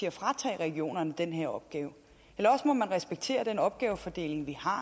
at fratage regionerne den her opgave eller også må man respektere den opgavefordeling vi har